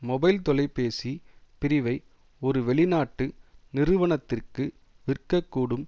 mobile தொலைபேசிப் பிரிவை ஒரு வெளிநாட்டு நிறுவனத்திற்கு விற்கக்கூடும்